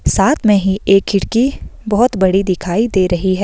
साथ में ही एक खिड़की बहुत बड़ी दिखाई दे रही है।